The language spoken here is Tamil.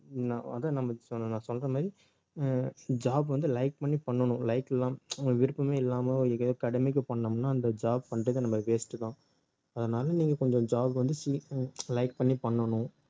உம் நான் அதான் நான் வந்து நான் சொல்ற மாதிரி அஹ் job வந்து like பண்ணி பண்ணணும் like இல்லாம உங்க விருப்பமே இல்லாம ஏதோ கடமைக்கு பண்ணோம்ன்னா அந்த job பண்றது நமக்கு waste தான் அதனால நீங்க கொஞ்சம் job வந்து like பண்ணி பண்ணணும்